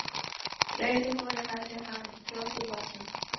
Rauðu húfunni hafði hann troðið í vasann.